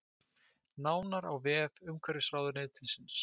Nánar á vef umhverfisráðuneytisins